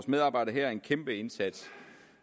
medarbejderne her en kæmpe indsats